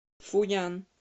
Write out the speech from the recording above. фуян